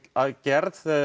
aðgerð